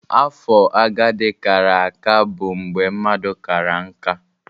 Afo agadi kara aka bụ mgbe mmadụ kara nká.